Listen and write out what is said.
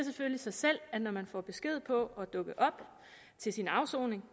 sig selv at når man får besked på at dukke op til sin afsoning